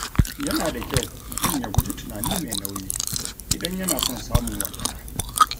Yana da kyau mutum ya guji tunani mai nauyi, idan yana son samun walwala.